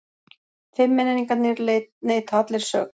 Fimmmenningarnir neita allir sök